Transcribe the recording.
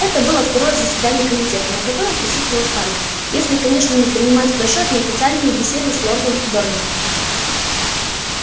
это было второе заседание комитета на котором присутствовал хардин если конечно не принимать в расчёт неофициальные беседы с лордом дорвином